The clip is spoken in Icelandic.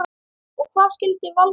Og hvað skyldi valda þessu?